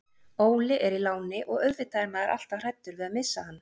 Óli er í láni og auðvitað er maður alltaf hræddur við að missa hann.